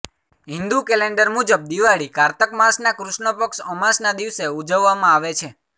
Hindu calendar મુજબ દિવાળી કારતકમાસના કૃષ્ણપક્ષ અમાસના દિવસે ઉજવવામાં આવે છે